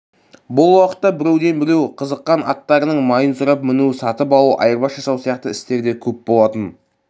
бұл уақытта біреуден біреу қызыққан аттарының майын сұрап міну сатып алу айырбас жасау сияқты істер де көп болатын